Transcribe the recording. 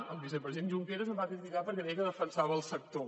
el vicepresident junqueras em va criticar perquè deia que defensava el sector